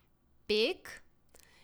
Pek?